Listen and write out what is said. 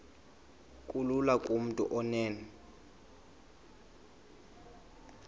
kulula kumntu onen